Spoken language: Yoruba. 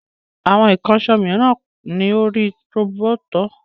Àwọn ìkànṣó mìíràn kò ní orí roboto